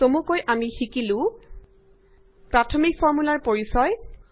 চমুকৈ আমি শিকিলো প্ৰাথমিক ফৰ্মূলাৰ পৰিচয়